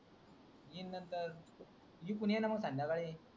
gym नंतर मीपण येईना संध्याकाळी